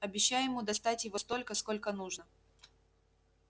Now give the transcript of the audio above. обещай ему достать его столько сколько нужно